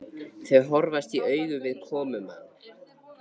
Þau horfast í augu við komumann.